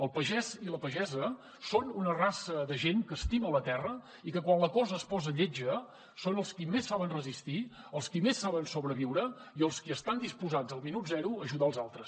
el pagès i la pagesa són una raça de gent que estima la terra i que quan la cosa es posa lletja són els qui més saben resistir els qui més saben sobreviure i els qui estan disposats al minut zero a ajudar els altres